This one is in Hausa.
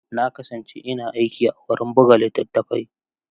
Na kasance ina aiki a wurin buga littattafai.